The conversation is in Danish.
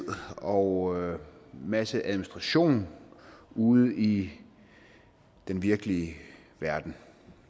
og en masse administration ude i den virkelige verden